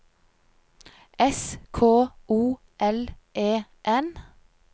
S K O L E N